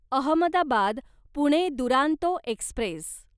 Ahmedabad Pune Duronto Express